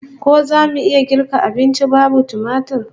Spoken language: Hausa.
Ko zamu iya girka abunci babu tumatir?